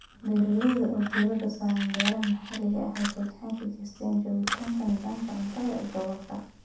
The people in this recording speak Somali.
Beeralayda oo diiradda saaraya beeraha maxalliga ah waxay gacan ka geystaan ??joogtaynta nidaamka cuntada ee gobolka.